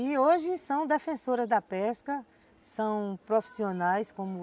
E hoje são defensoras da pesca, são profissionais como